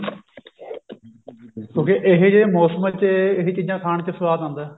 ਕਿਉਂਕਿ ਇਹੇ ਜੇ ਮੋਸਮ ਚ ਇਹ ਚੀਜ਼ਾਂ ਖਾਨ ਚ ਸਵਾਦ ਆਉਂਦਾ